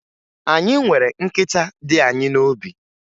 Anyị nwere nkịta dị anyị n'obi